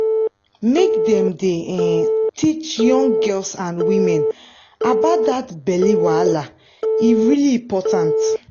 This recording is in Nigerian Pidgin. make dem dey um teach young girls and women about that belly wahala e really important